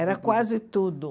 Era quase tudo.